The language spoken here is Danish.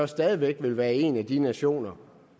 stadig væk vil være en af de nationer